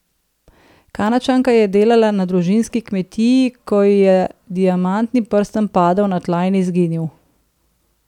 Kanadčanka je delala na družinski kmetiji, ko ji je diamantni prstan padel na tla in izginil.